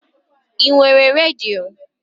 I nwere redio?